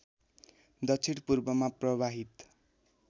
दक्षिण पूर्वमा प्रवाहित